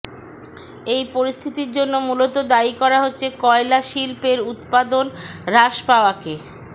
এই পরিস্থিতির জন্য মূলত দায়ী করা হচ্ছে কয়লা সিল্পের উৎপাদন হ্রাস পাওয়াকে